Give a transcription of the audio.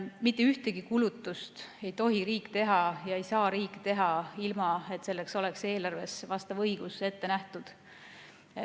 Mitte ühtegi kulutust ei tohi riik teha ega saa riik teha ilma, et selleks oleks eelarves vastav õigus ette nähtud.